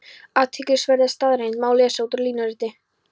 Athyglisverða staðreynd má lesa út úr línuritinu.